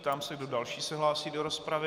Ptám se, kdo další se hlásí do rozpravy.